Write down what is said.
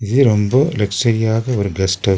இது ரொம்ப லெக்சூரியாக ஒரு கெஸ்ட் ஹவுஸ் .